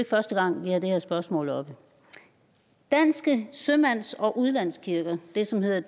første gang vi har det her spørgsmål oppe danske sømands og udlandskirker det som hedder